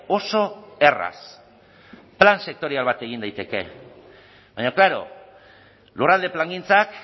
oso erraz plan sektorial bat egin daiteke baina klaro lurralde plangintzak